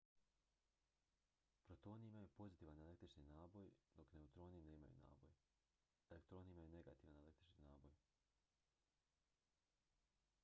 protoni imaju pozitivan električni naboj dok neutroni nemaju naboj elektroni imaju negativan električni naboj